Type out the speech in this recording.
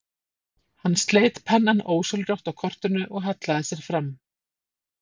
Hann sleit pennann ósjálfrátt af kortinu og hallaði sér fram.